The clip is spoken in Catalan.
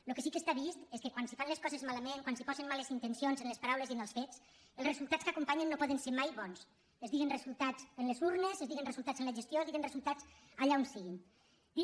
el que sí que està vist és que quan se fan les coses malament quan se posen males intencions en les paraules i en els fets els resultats que acompanyen no poden ser mai bons es diguin resultats en les urnes es diguin resultats en la gestió es diguin resultats allà on sigui